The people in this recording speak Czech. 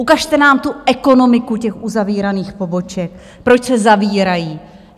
Ukažte nám tu ekonomiku těch uzavíraných poboček, proč se zavírají.